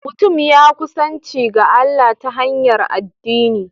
Mutum ya kusanci ga Allah ta hanyar addini